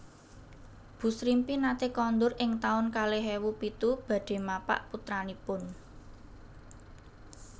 Bu Srimpi nate kondur ing taun kalih ewu pitu badhe mapak putranipun